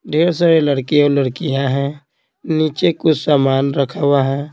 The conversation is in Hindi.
ढेर सारे लड़के और लड़कियां हैं नीचे कुछ सामान रखा हुआ है।